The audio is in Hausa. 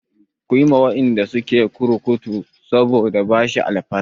Ku yi wa waɗanda suke kurkuku saboda bashi alfarma!